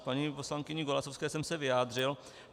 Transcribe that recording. K paní poslankyni Golasowské jsem se vyjádřil.